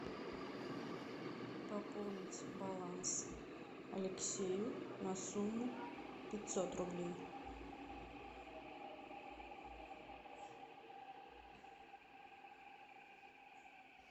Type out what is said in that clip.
пополнить баланс алексею на сумму пятьсот рублей